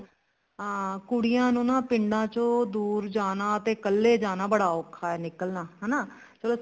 ਹਾਂ ਕੁੜੀਆਂ ਨੂੰ ਨਾ ਪਿੰਡਾਂ ਚੋਂ ਦੁਰ ਜਾਣਾ ਤੇ ਕੱਲੇ ਜਾਣਾ ਬੜਾ ਔਖਾ ਨਿਕਲਣਾ ਹਨਾ ਚਲੋ